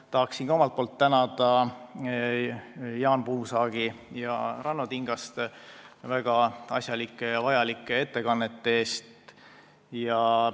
Ma tahan ka omalt poolt tänada Jaan Puusaagi ja Ranno Tingast väga asjalike ja vajalike ettekannete eest.